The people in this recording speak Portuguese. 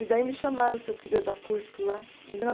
E daí me chamaram se eu queria dar curso lá em mil